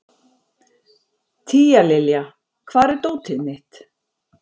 Tíalilja, hvar er dótið mitt?